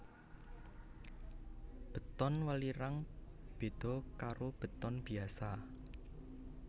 Beton welirang beda karo beton biasa